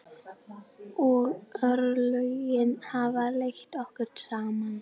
Og örlögin hafa leitt okkur saman.